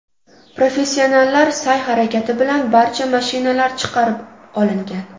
Professionallar sa’y-harakati bilan barcha mashinalar chiqarib olingan.